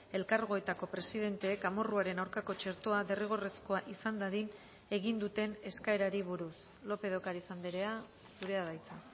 elkargoetako presidenteek amorruaren aurkako txertoa derrigorrezkoa izan dadin egin duten eskaerari buruz lópez de ocariz andrea zurea da hitza